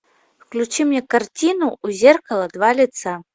включи мне картину у зеркала два лица